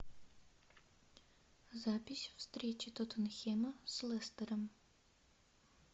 запись встречи тоттенхэма с лестером